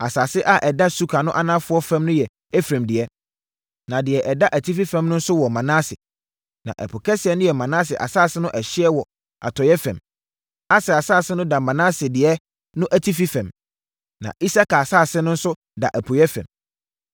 Asase a ɛda suka no anafoɔ fam no yɛ Efraim dea, na deɛ ɛda atifi fam nso wɔ Manase, na Ɛpo kɛseɛ no yɛ Manase asase no ɛhyeɛ wɔ atɔeɛ fam. Aser asase no da Manase deɛ no atifi fam, na Isakar asase no nso da apueeɛ fam.